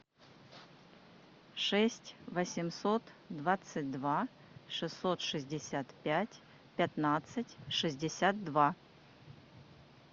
шесть восемьсот двадцать два шестьсот шестьдесят пять пятнадцать шестьдесят два